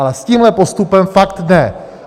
Ale s tímhle postupem fakt ne!